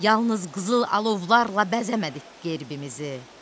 Yalnız qızıl alovlarla bəzəmədik qəlbimizi.